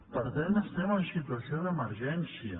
per tant estem en situació d’emergència